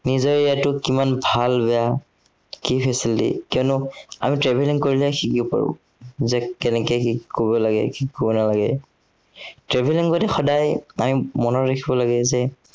নিজৰ area টো কিমান ভাল বেয়া। কি facility, কিয়নো আমি travelling কৰিলে শিকিব পাৰো। যে কেনেকে কি কৰিব লাগে, কি কৰিব নালাগে। travelling কৰোতে সদায় আমি মনত ৰাখিব লাগে যে